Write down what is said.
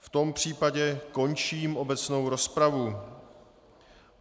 V tom případě končím obecnou rozpravu.